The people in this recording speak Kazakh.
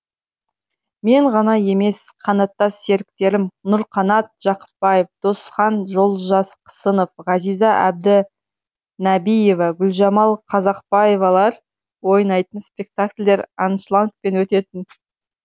мен ғана емес қанаттас серіктерім нұрқанат жақыпбаев досхан жолжақсынов ғазиза әбді нәбиева гүлжамал қазақбаевалар ойнайтын спектакльдер аншлагпен өтетін